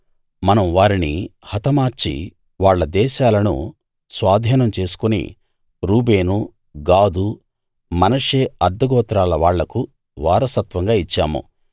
మనం వారిని హతమార్చి వాళ్ళ దేశాలను స్వాధీనం చేసుకుని రూబేను గాదు మనష్షే అర్థగోత్రాల వాళ్లకు వారసత్వంగా ఇచ్చాము